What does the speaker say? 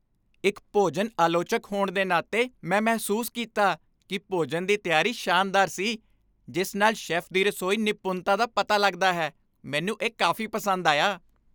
ਇੱਕ ਭੋਜਨ ਆਲੋਚਕ ਹੋਣ ਦੇ ਨਾਤੇ, ਮੈਂ ਮਹਿਸੂਸ ਕੀਤਾ ਕਿ ਭੋਜਨ ਦੀ ਤਿਆਰੀ ਸ਼ਾਨਦਾਰ ਸੀ, ਜਿਸ ਨਾਲ ਸ਼ੈੱਫ ਦੀ ਰਸੋਈ ਨਿਪੁੰਨਤਾ ਦਾ ਪਤਾ ਲੱਗਦਾ ਹੈ। ਮੈਨੂੰ ਇਹ ਕਾਫ਼ੀ ਪਸੰਦ ਆਇਆ।